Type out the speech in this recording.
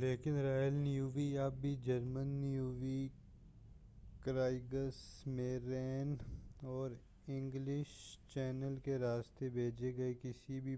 لیکن Royal Navy اب بھی جرمن نیوی ”کرائگس میرین اور انگلش چینل کے راستے بھیجے گئے کسی بھی